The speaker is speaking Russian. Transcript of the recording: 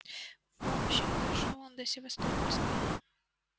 в общем дошёл он до севастопольской